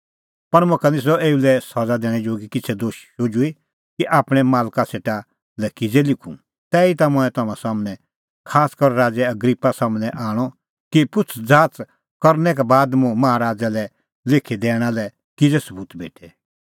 पर मुखा निस्सअ एऊ लै सज़ा दैणैं जोगी किछ़ै दोश शुझुई कि आपणैं मालका सेटा लै किज़ै लिखूं तैहीता मंऐं तम्हां सम्हनै खासकर राज़ै अग्रिप्पा सम्हनै आणअ कि पुछ़ज़ाच़ करनै का बाद मुंह माहा राज़ै लै लिखी दैणा लै किज़ै सबूत भेटे